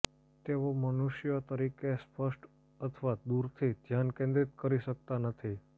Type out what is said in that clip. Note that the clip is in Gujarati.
તેઓ મનુષ્યો તરીકે સ્પષ્ટ અથવા દૂરથી ધ્યાન કેન્દ્રિત કરી શકતા નથી